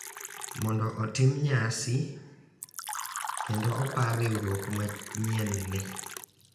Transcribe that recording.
Mondo otim nyasi kendo opar riwruok manyienni.